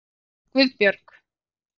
Guðbjörg